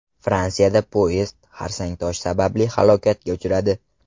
Fransiyada poyezd xarsang tosh sababli halokatga uchradi.